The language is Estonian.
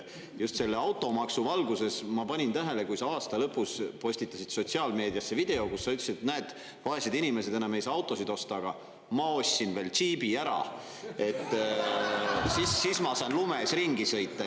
Just selle automaksu valguses, ma panin tähele, kui sa aasta lõpus postitasid sotsiaalmeediasse video, kus sa ütlesid, et näed, vaesed inimesed enam ei saa autosid osta, aga ma ostsin veel džiibi ära, et siis ma saan lumes ringi sõita.